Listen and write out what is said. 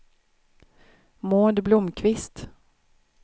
Maud Blomkvist